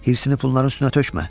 Hirsini pulların üstünə tökmə.